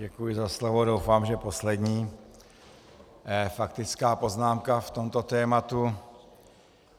Děkuji za slovo, doufám, že poslední faktická poznámka v tomto tématu.